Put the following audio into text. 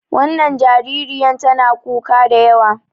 Wannan jaririyan tana kuka da yawa.